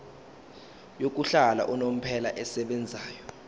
yokuhlala unomphela esebenzayo